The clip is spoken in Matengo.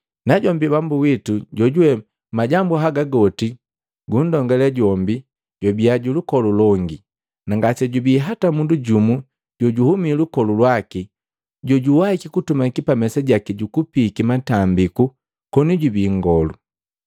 Najombi Bambu witu jojuwe majambu haga goti gunndongale jombi, jwabia ju lukolu longi, na ngasejubi hata mundu jumu jojuhumi lukolu lwaki jojuwaiki kutumaki pa mesa jaki jukupiiki matambiku koni jubi nngolu.